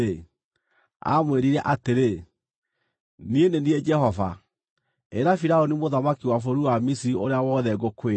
aamwĩrire atĩrĩ, “Niĩ nĩ niĩ Jehova. Ĩra Firaũni mũthamaki wa bũrũri wa Misiri ũrĩa wothe ngũkwĩra.”